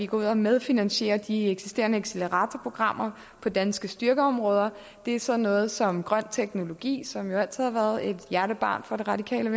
går ud og medfinansierer de eksisterende acceleratorprogrammer på danske styrkeområder det er sådan noget som grøn teknologi som jo altid har været et hjertebarn for radikale